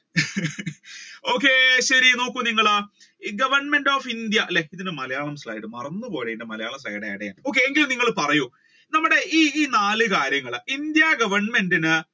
okay ശരി നോക്കൂ നിങ്ങൾ Government of India മറന്നു പോയി slide മറന്നു പോയി ഇതിന്റെ മലയാളം slide add ചെയ്യാൻ okay എങ്കിലും നിങ്ങൾ പറയൂ നമ്മുടെ ഈ നാല് കാര്യങ്ങൾ ഇന്ത്യ Government ഇൻ